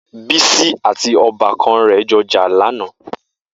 Bisi àtí òbàkàn rè óbìrín jò jà lànã